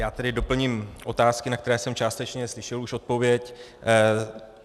Já tedy doplním otázky, na které jsem částečně slyšel už odpověď.